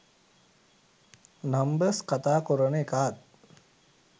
numbers කතා කොරන එකාත්